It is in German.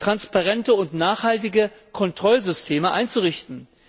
transparente und nachhaltige Kontrollsysteme einzurichten.